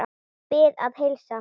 Bið að heilsa.